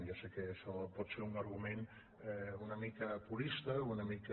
ja sé que això pot ser un argument una mica purista una mica